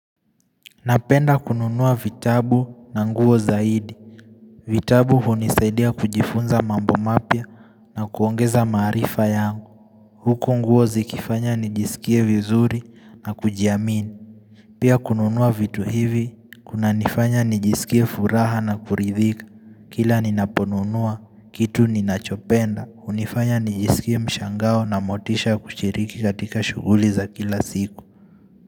Napenda kununua vitabu na nguo zaidi. Vitabu hunisaidia kujifunza mambo mapya na kuongeza maarifa yangu. Huku nguo zikifanya nijisikie vizuri na kujiamini. Pia kununua vitu hivi, kuna nifanya nijisikie furaha na kuridhika. Kila ninaponunua, kitu ninachopenda. Hunifanya nijisikie mshangao na motisha kushiriki katika shuguli za kila siku.